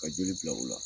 Ka joli bila u la